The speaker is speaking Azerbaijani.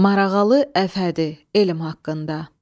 Marağalı Əfhədi, elm haqqında.